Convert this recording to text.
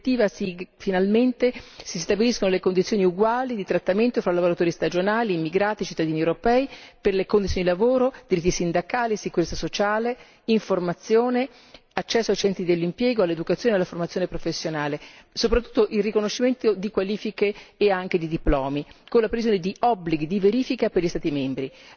Con questa direttiva finalmente si stabiliscono condizioni uguali di trattamento fra lavoratori stagionali, immigrati, cittadini europei per le condizioni di lavoro, diritti sindacali, sicurezza sociale, informazione, accesso ai centri dell'impiego, all'educazione e alla formazione professionale, soprattutto il riconoscimento di qualifiche e anche di diplomi, con la previsione di obblighi di verifica per gli Stati membri.